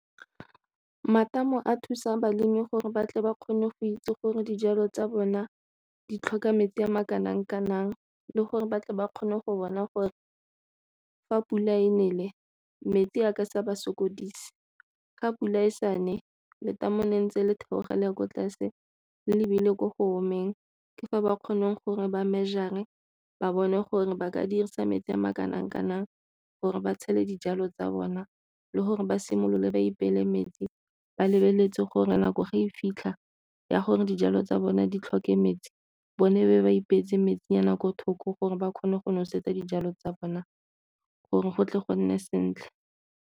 Matamo a thusa balemi gore batle ba kgone go itse gore dijalo tsa bona di tlhoka metsi a ma kanang kanang le gore batle ba kgone go bona gore fa pula e nele metsi a ka sa ba sokodise. Ga pula e sane letamo le ntse le theoga le ya ko tlase le lebile ko go o emeng, ke fa ba kgonang gore ba measure-re ba bone gore ba ka dirisa metsi a makanang kanang gore ba tshele dijalo tsa bona le gore ba simolole ba ipeele metsi ba lebeletse gore nako ga e fitlha ya gore dijalo tsa bone di tlhoke metsi bone be ba ipeetse metsi ya nako thoko gore ba kgone go nosetsa dijalo tsa bona gore go tle go nne sentle.